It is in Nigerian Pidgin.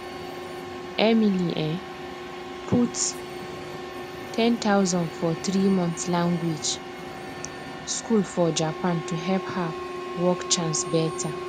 emily um put 10000 for 3month language school for japan to help her work chance better